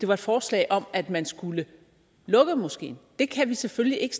var et forslag om at man skulle lukke moskeen det kan vi selvfølgelig ikke